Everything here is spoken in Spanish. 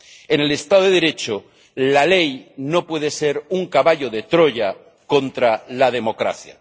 En el Estado de Derecho la ley no puede ser un caballo de Troya contra la democracia.